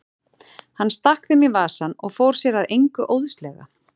Hann stakk þeim í vasann og fór sér að engu óðslega.